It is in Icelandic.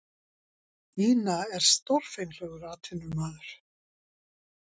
Ina er stórfenglegur atvinnumaður.